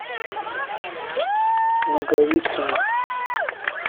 наговицыну